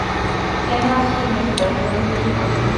кино синистер загрузи ка